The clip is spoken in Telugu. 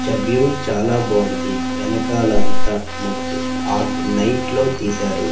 చ వ్యూ చాలా బాగుంది వెనకాల అంతా మబ్బు ఆకు నైట్ లో తీశారు.